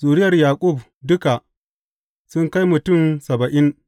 Zuriyar Yaƙub duka sun kai mutum saba’in.